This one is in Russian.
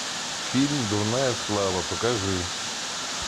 фильм дурная слава покажи